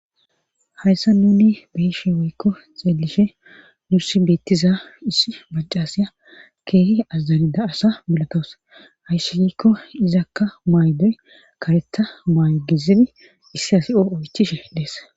hayssa nuni beyishe woykko xeelishe nursi beettiza issi bacca asya keehi azazanida asa milotowus hayssi giikko izakka maydoy karetha maygizini issi asi o oychishe dees